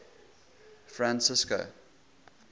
francisco